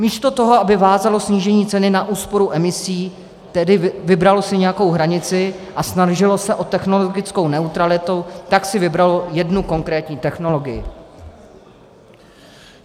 Místo toho, aby vázalo snížení ceny na úsporu emisí, tedy vybralo si nějakou hranici a snažilo se o technologickou neutralitu, tak si vybralo jednu konkrétní technologii.